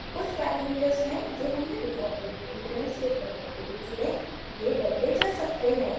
कुछ पैरामीटर्स हैं जो हमने डिफ़ॉल्ट वैल्यू की तरह सेव करने के लिए चुने ये बदले जा सकते हैं